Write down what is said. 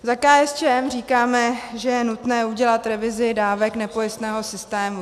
Za KSČM říkáme, že je nutné udělat revizi dávek nepojistného systému.